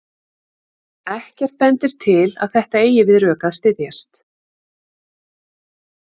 Ekkert bendir til að þetta eigi við rök að styðjast.